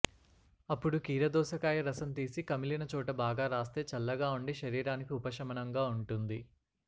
అప్పుడు కీరదోసకాయ రసం తీసి కమిలిన చోట బాగా రాస్తే చల్లగా ఉండి శరీరానికి ఉపశమనంగా ఉంటుంది